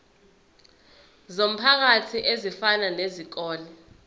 zomphakathi ezifana nezikole